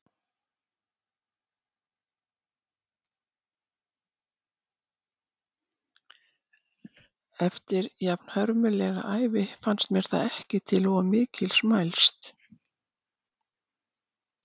Eftir jafnhörmulega ævi fannst mér það ekki til of mikils mælst.